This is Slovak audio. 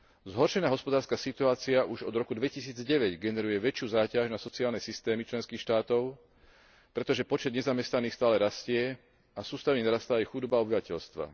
Zhoršená hospodárska situácia už od roku 2009 generuje väčšiu záťaž na sociálne systémy členských štátov, pretože počet nezamestnaných stále rastie a sústavne narastá aj chudoba obyvateľstva.